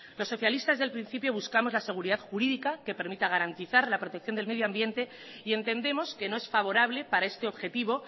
los socialistas al principio buscamos la seguridad jurídica que permita garantizar la protección del medio ambiente y entendemos que no es favorable para este objetivo